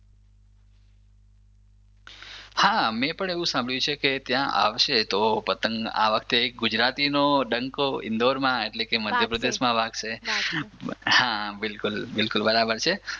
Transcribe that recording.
હા મેં પણ એવું સંભાવ્યું છે કે ત્યાં આવશે તો પતંગ આ વખતે ગુજરાતીનો ડંકો આ વખતે ઇન્દોરમાં એટલે લે મધ્યપ્રદેશમાં વાગશે. વાગશે હા બિલકુલ બરાબર છે.